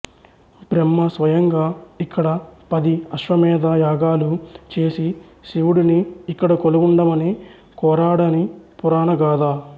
బ్రహ్మ స్వయంగా ఇక్కడ పది అశ్వమేధ యాగాలు చేసి శివుడిని ఇక్కడ కొలువుండమని కోరాడని పురాణ గాథ